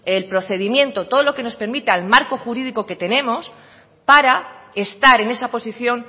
el procedimiento todo lo que nos permita el marco jurídico que tenemos para estar en esa posición